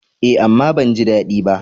Eh, amma ban ji dadi ba.